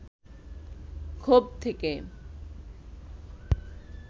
ক্ষোভ থেকে